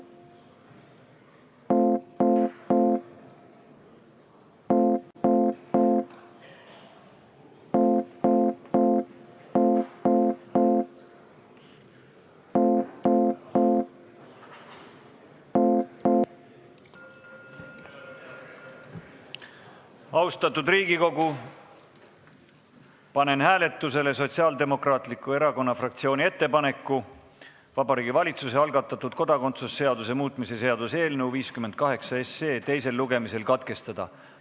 Austatud Riigikogu, panen hääletusele Sotsiaaldemokraatliku Erakonna fraktsiooni ettepaneku Vabariigi Valitsuse algatatud kodakondsuse seaduse muutmise seaduse eelnõu 58 teine lugemine katkestada.